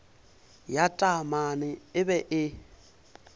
ya taamane e be e